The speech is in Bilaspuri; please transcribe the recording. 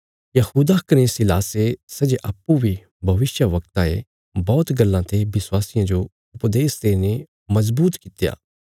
यहूदा कने सीलासे सै जे अप्पूँ बी भविष्यवक्ता ये बौहत गल्लां ते विश्वासियां जो उपदेश देईने मजबूत कित्या